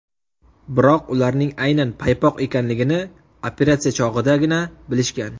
Biroq ularning aynan paypoq ekanligini operatsiya chog‘idagina bilishgan.